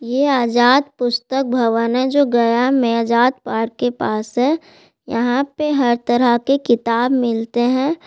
ये आजाद पुस्तक भवन है जो गया मे आजाद पार्क के पास है यहाँ पर हर तरह के किताब मिलता है।